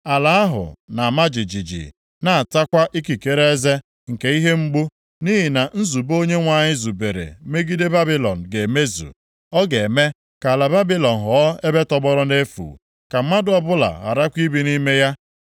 Ala ahụ na-ama jijiji, na-atakwa ikikere eze nke ihe mgbu, nʼihi na nzube Onyenwe anyị zubere megide Babilọn ga-emezu. Ọ ga-eme ka ala Babilọn ghọọ ebe tọgbọrọ nʼefu, ka mmadụ ọbụla gharakwa ibi nʼime ya.